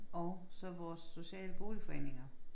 Og så vores sociale boligforeninger